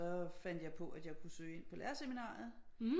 Og så fandt jeg på at jeg kunne søge ind på lærerseminariet